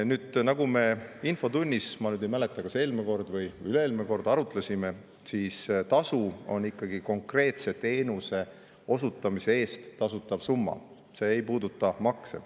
Nüüd, nagu me infotunnis – ma nüüd ei mäleta, kas eelmine kord või üle-eelmine kord – arutasime, on tasu ikkagi konkreetse teenuse osutamise eest tasutav summa, see ei puuduta makse.